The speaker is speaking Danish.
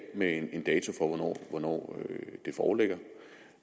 med en dato for hvornår de foreligger